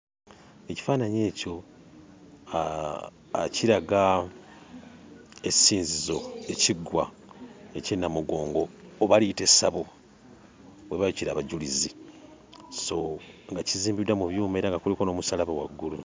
Ekifaananyi ekyo kiraga essinzizo, ekiggwa eky'e Nnamugongo oba liyite essabo we baayokyera abajulizi, so nga kizimbiddwa mu byuma era nga kuliko n'omusaalaba waggulu.